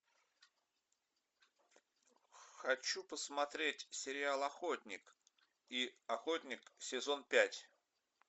хочу посмотреть сериал охотник и охотник сезон пять